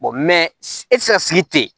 e tɛ se ka sigi ten